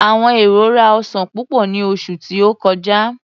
Àwọn èrò rá ọsan púpò ní oṣù tí ó kọjá.